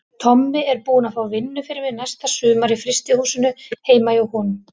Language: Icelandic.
Tommi er búinn að fá vinnu fyrir mig næsta sumar í frystihúsinu heima hjá honum.